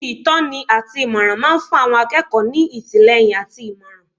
Ibi ìtọ́ni àti ìmọ̀ràn máa ń fún àwọn akẹ́kọ̀ọ́ ní ìtìlẹ́yìn àti ìmọ̀ràn